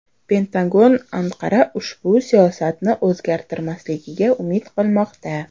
Pentagon Anqara ushbu siyosatini o‘zgartirmasligiga umid qilmoqda.